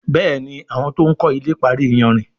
Béèni àwọn to'n kò ilè parí iyanrìn.